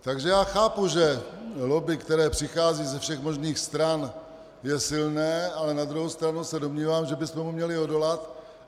Takže já chápu, že lobby, která přichází ze všech možných stran, je silná, ale na druhou stranu se domnívám, že bychom jí měli odolat.